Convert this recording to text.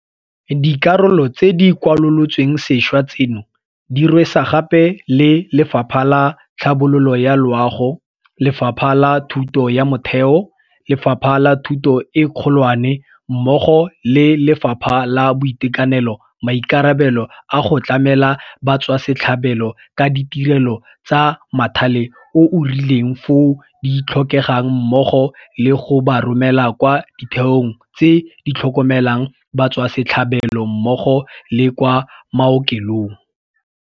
Dikarolo tse di kwalolotsweng sešwa tseno di rwesa gape le Lefapha la Tlhabololo ya Loago, Lefapha la Thuto ya Motheo, Lefapha la Thuto e Kgolwane mmogo le Lefapha la Boitekanelo maikarabelo a go tlamela batswasetlhabelo ka ditirelo tsa mothale o o rileng foo di tlhokegang mmogo le go ba romela kwa ditheong tse ditlhokomelang batswasetlhabelo mmogo le kwa maokelong.